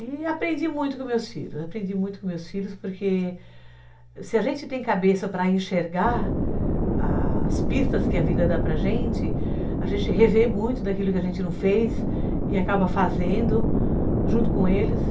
E aprendi muito com meus filhos, aprendi muito com meus filhos, porque se a gente tem cabeça para enxergar a as pistas que a vida dá para a gente, a gente revê muito daquilo que a gente não fez e acaba fazendo junto com eles.